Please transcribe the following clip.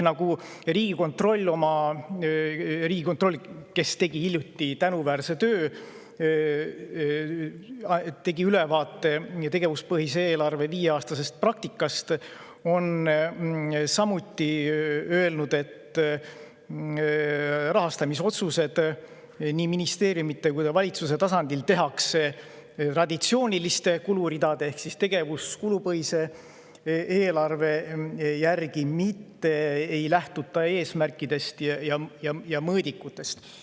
Riigikontroll tegi hiljuti ära tänuväärse töö, nimelt andis ülevaate tegevuspõhise eelarve viieaastasest praktikast, ja on samuti öelnud, et rahastamisotsused nii ministeeriumide kui ka valitsuse tasandil tehakse traditsiooniliste kuluridade ehk tegevuskulupõhise eelarve järgi, mitte ei lähtuta eesmärkidest ja mõõdikutest.